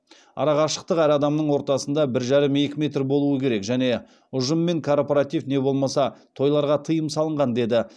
ара қашықтық әр адамның ортасында бір жарым екі метр болу керек және ұжыммен корпоратив не болмаса тойларға тыйым салынған деді